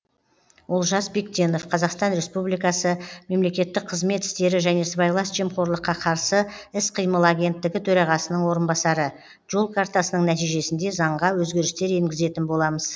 олжас бектенов қазақстан республикасы мемлекеттік қызмет істері және сыбайлас жемқорлыққа қарсы іс қимыл агенттігі төрағасының орынбасары жол картасының нәтижесінде заңға өзгерістер енгізетін боламыз